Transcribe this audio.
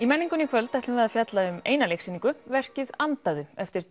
menningunni í kvöld ætlum við að fjalla um eina leiksýningu verkið andaðu eftir